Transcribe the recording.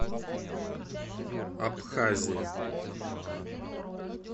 абхазия